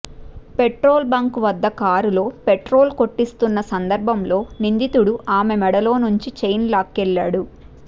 petrol bunk వద్ద కారులో petrol కొట్టిస్తున్న సందర్భంలో నిందితుడు ఆమె మెడలో నుంచి చైన్ లాక్కెళ్లాడు